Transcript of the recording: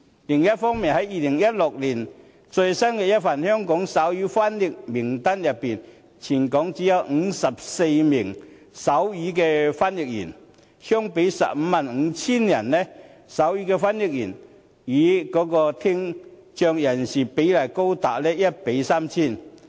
另一方面 ，2016 年的最新一份《香港手語翻譯員名單》中，全港只有54名手語翻譯員，相比 155,000 人，手語的翻譯員與聽障人士比例高達 1：3,000。